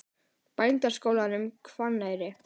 Bændaskólanum Hvanneyri